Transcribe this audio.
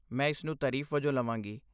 ਮੈਂ ਇਸ ਨੂੰ ਤਾਰੀਫ਼ ਵਜੋਂ ਲਵਾਂਗੀ।